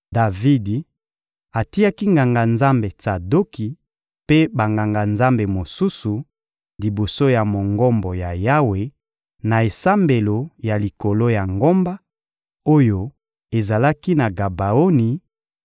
Davidi atiaki Nganga-Nzambe Tsadoki mpe Banganga-Nzambe mosusu, liboso ya Mongombo ya Yawe na esambelo ya likolo ya ngomba, oyo ezalaki na Gabaoni,